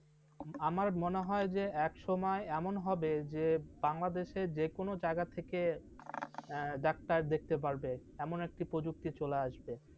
আমার মনে হয় যে এক সময় এমন হবে যে বাংলাদেশের যে কোনো জায়গা থেকে doctor দেখতে পারবে এমন একটি প্রযুক্তি চলে আসবে।